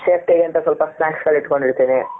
safety ಗೆ ಅಂತ ಸ್ವಲ್ಪ snacks ಗಳು ಇಟುಕೊಂಡ ಇರ್ತೀನಿ.